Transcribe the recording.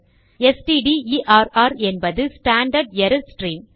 stderr என்பது standard error stream